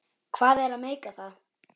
Hvað er að meika það?